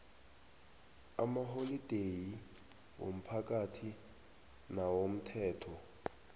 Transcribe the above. amaholideyi womphakathi nawomthetho